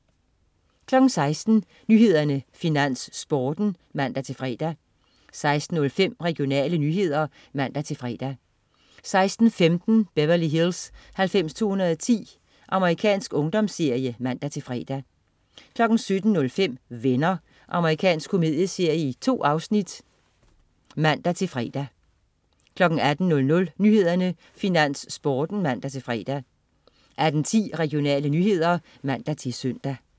16.00 Nyhederne, Finans, Sporten (man-fre) 16.05 Regionale nyheder (man-fre) 16.15 Beverly Hills 90210. Amerikansk ungdomsserie (man-fre) 17.05 Venner. Amerikansk komedieserie. 2 afsnit (man-fre) 18.00 Nyhederne, Finans, Sporten (man-fre) 18.10 Regionale nyheder (man-søn)